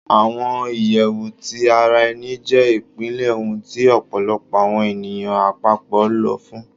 Awọn iyẹwu ti ara ẹni jẹ ipilẹ ohun ti ọpọlọpọ awọn eniyan apapọ lọ fun